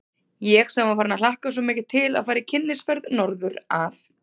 Ég sem var farin að hlakka svo mikið til að fara í kynnisferð norður að